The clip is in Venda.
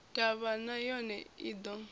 ḓavha na yone i ḓo